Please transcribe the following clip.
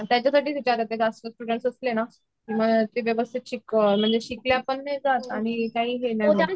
त्याच्या साठीच विचारत आहे जास्त स्टूडेंट्स असले न की मग ते व्यवस्थित शिकले पण नाही जात आणि काही हे नाही होत